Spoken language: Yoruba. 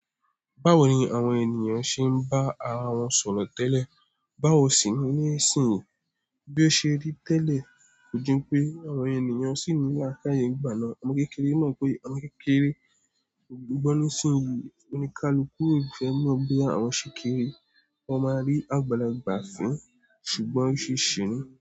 Báwo ni àwọn ènìyàn ṣe ń bá ara wọn sọ̀rọ̀ tẹ́lẹ̀? Báwo sì ni ní ìsinsìnyí bí ó ṣe rí tẹ́lẹ̀? Kò jun pé àwọn ènìyàn sì ní lákáyé igbana. Ọmọ kékeré mọ̀ pé ọmọ kékeré kò gbọ́ ní ìsinsìnyí oni ká lu kú, kò fẹ́ mọ̀ bí àwọn ṣe kéré. Wọn máa rí àgbàlagbà fín ṣùgbọ́n ó ṣe ṣìní.